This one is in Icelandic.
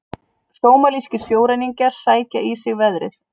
Sómalískir sjóræningjar sækja í sig veðrið